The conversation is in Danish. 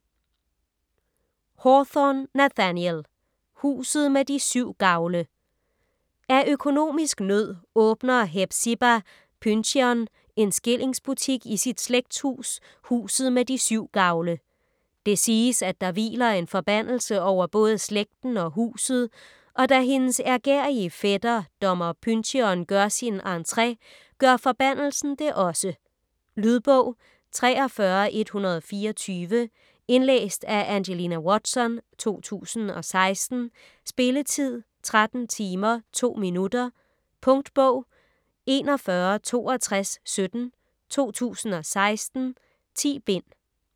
Hawthorne, Nathaniel: Huset med de syv gavle Af økonomisk nød åbner Hepzibah Pyncheon en skillingsbutik i sit slægtshus, Huset med de syv gavle. Det siges, at der hviler en forbandelse over både slægten og huset, og da hendes ærgerrige fætter, dommer Pyncheon, gør sin entre, gør forbandelsen det også. Lydbog 43124 Indlæst af Angelina Watson, 2016. Spilletid: 13 timer, 2 minutter. Punktbog 416217 2016. 10 bind.